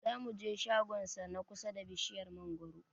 Zamu je shagon sa na kusa ba bishiyar mangwaro